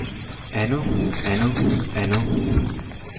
andet andet andet